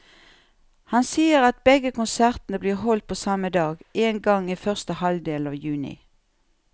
Han sier at begge konsertene blir holdt på samme dag, en gang i første halvdel av juni.